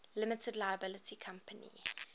limited liability company